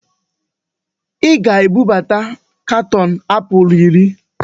Ị ga-ebubata katọọnụ apụl iri!